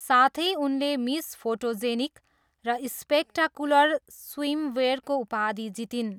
साथै, उनले miss photogenic र स्पेक्टाकुलर स्विमवेयरको उपाधि जितिन्।